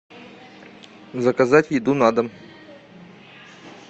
заказать еду на дом